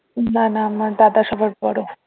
না না না দাদা সবার বড়ো